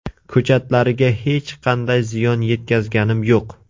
Ko‘chatlariga hech qanday ziyon yetkazganim yo‘q.